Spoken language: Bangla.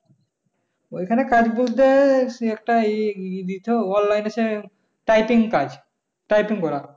ওইখানে কাজ বলতে একটা ই ইদিত over line আছে typing কাজ typing করা।